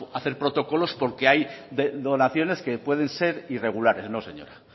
hacer protocolos porque hay donaciones que pueden ser irregulares no señora